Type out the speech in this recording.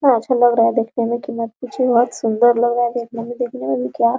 यहाँ अच्छा लग रहा हैदेखने मे की मत पूछिए बहुत सुन्दर लग रहा है देखने मे देखने में भी क्या --